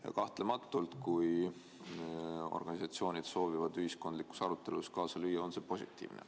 Ning kahtlematult, kui organisatsioonid soovivad ühiskondlikus arutelus kaasa lüüa, on see positiivne.